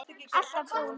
Alltaf brúnn.